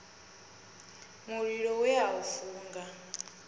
mulilo we a u funga